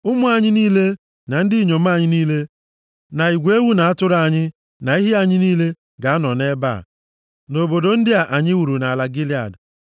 Ụmụ anyị niile, na ndị inyom anyị niile, na igwe ewu na atụrụ anyị, na ehi anyị niile, ga-anọ nʼebe a, nʼobodo ndị a anyị wuru nʼala Gilead.